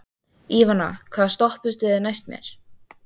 Ívana, hvaða stoppistöð er næst mér?